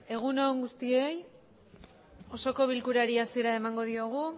egun on guztioi osoko bilkurari hasiera emango diogu